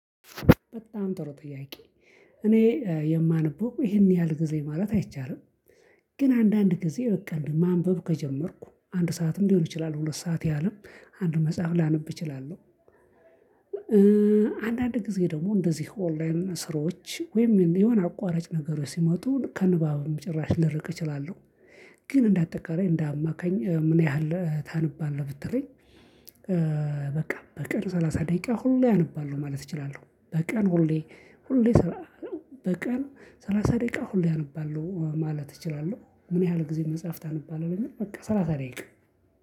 በጣም ጥሩ ጥያቄ? እኔ የማነበው ይሄን ያህል ጊዜ ማለት አይቻልም። ግን አንዳንድ ጊዜ በቃ ማንበብ ከጀመርኩ አንድ ሰዓትም ሊሆን ይችላል ሁለት ሰዓት ያሀልም አንድ መጽሐፍ ላነብ እችላለሁ። አንዳንድ ጊዜ ደግሞ እንደዚህ ኦንላይን ስራዎች ወይም የሆነ አቋራጭ ነገሮች ሲመጡ ከንባብም ጭራሽ ልርቅ እችላለሁ። ግን እንደ አጠቃላይ እንደ አማካኝ ምን ያህል ታነባለህ ብትለኝ? በቃ በቀን ሰላሳ ደቂቃ ሁሌ አነባለሁ ማለት እችላለሁ በቀን ሁሌ ሁሌ በቀን ሰላሳ ደቂቃ ሁሌ አነባለሁ ማለት እችላለሁ። ምን ያህል ጊዜ መጽሐፍ ታነባለህ ለሚለው በቃ ሰላሳ ደቂቃ